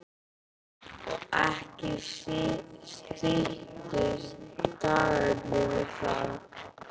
Og ekki styttust dagarnir við það.